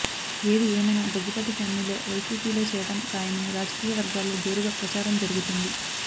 ఏది ఏమైనా దగ్గుబాటి ఫ్యామిలీ వైసీపీలో చేరడం ఖాయమని రాజకీయవర్గాల్లో జోరుగా ప్రచారం జరుగుతోంది